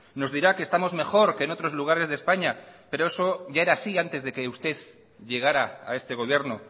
nos dirá que estamos mejor que en otros lugares de españa pero eso ya era así antes de que usted llegara a este gobierno